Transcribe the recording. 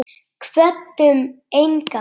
Kvöddum engan.